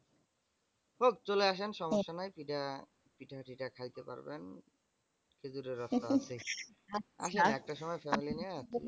হোক চলে আসেন সমস্যা নাই। পিঠা থিটা খাইতে পারবেন খেজুরের রস তো আছেই আসেন একটা সময় family নিয়ে আসেন।